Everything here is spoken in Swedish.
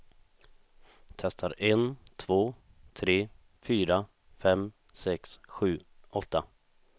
Testar en två tre fyra fem sex sju åtta.